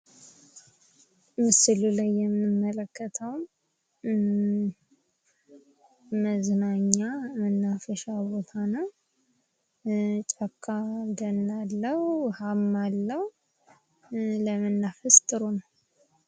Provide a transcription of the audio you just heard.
ምስሉ ላይ የምንመለከተው መዝናኛ መናፈሻ ቦታ ነው። ጫካ እንትን አለው። ውሃም አለው። ለመናፈስ ጥሩ ነው።